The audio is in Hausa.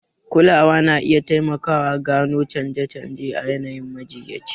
Kulawa na iya taimakawa gano canje-canje a yanayin majiyyaci.